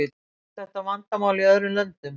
Þekkist þetta vandamál í öðrum löndum?